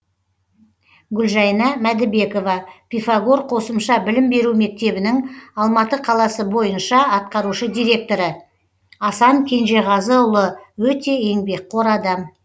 гүлжайна мәдібекова пифагор қосымша білім беру мектебінің алматы қаласы бойынша атқарушы директоры асан кенжеғазыұлы өте еңбекқор адам